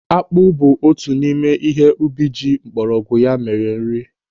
Akpụ bụ otu n'ime ihe ubi eji mgbọrọgwụ ya mere nri.